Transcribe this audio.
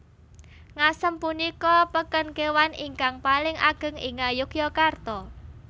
Ngasem punika peken kewan ingkang paling ageng ing Ngayogyakarta